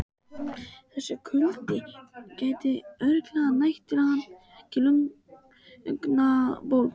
Þessi kuldi gæti örugglega nægt til að hann fengi lungnabólgu.